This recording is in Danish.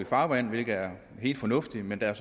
farvand hvilket er helt fornuftigt men der er